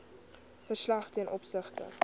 verslag ten opsigte